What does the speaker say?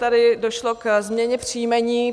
Tady došlo ke změně příjmení.